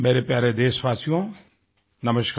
मेरे प्यारे देशवासियो नमस्कार